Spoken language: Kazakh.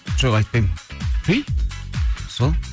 жоқ айтпаймын